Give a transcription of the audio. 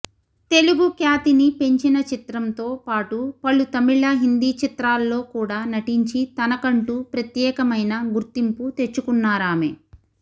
తెలుగు ఖ్యాతిని పెంచిన చిత్రంతో పాటు పలు తమిళ హిందీ చిత్రాల్లో కూడా నటించి తనకంటూ ప్రత్యేకమైన గుర్తింపు తెచ్చుకున్నారామె